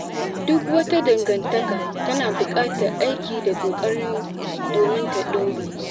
Duk wata dangantaka tana buƙatar aiki da ƙoƙari domin ta ɗore.